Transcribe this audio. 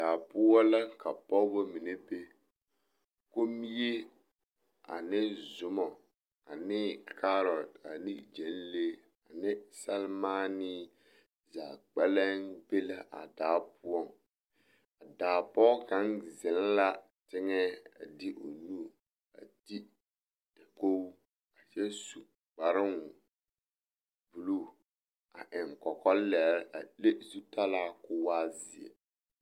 Daa poɔ la ka pɔgebɔ mine be, kommie ane zoma ane kaarɔte ane gyɛnlee ane sɛremaanee zaa kpɛlɛŋ be la a daa poɔŋ, a daa pɔge kaŋ zeŋ la teŋɛ a de o nu a te dakogi kyɛ su kparoŋ buluu a eŋ kɔkɔlɛre a le zutalaa k'o waa zeɛ.